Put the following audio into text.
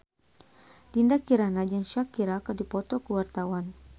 Dinda Kirana jeung Shakira keur dipoto ku wartawan